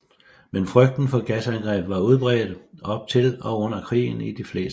Men frygten for gasangreb var udbredt op til og under krigen i de fleste lande